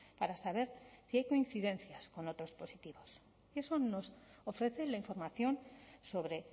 para saber si hay coincidencias con otros positivos eso nos ofrece la información sobre